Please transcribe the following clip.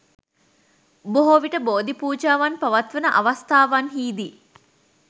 බොහෝ විට බෝධි පූජාවන් පවත්වන අවස්ථාවන්හිදී